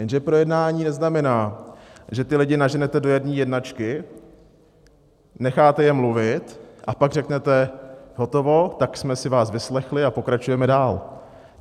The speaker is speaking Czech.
Jenže projednání neznamená, že ty lidi naženete do jedné jednačky, necháte je mluvit, a pak řeknete hotovo, tak jsme si vás vyslechli a pokračujeme dál.